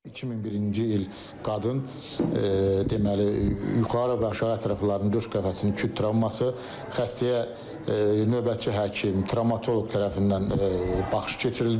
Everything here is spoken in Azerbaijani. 2001-ci il qadın deməli, yuxarı və aşağı ətraflarının, döş qəfəsinin küt travması, xəstəyə növbəti həkim, travmatoloq tərəfindən baxış keçirildi.